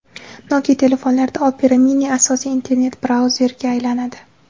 Nokia telefonlarida Opera Mini asosiy internet-brauzerga aylanadi.